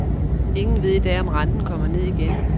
Ingen ved i dag om renten kommer ned igen.